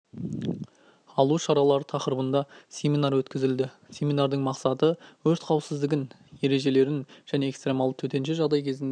алу шаралары тақырыбында семинар өткізілді семинардың мақсаты өрт қауіпсіздігін ережелерін және экстремалды төтенше жағдай кезінде